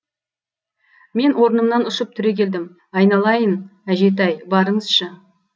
мен орнымнан ұшып түрегелдім айналайын әжетай барыңызшы